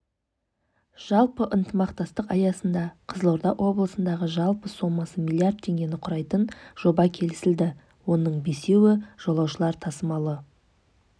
жалпы ынтымақтастық аясында қызылорда облысындағы жалпы сомасы млрд теңгені құрайтын жоба келісілді оның бесеуі жолаушылар тасымалы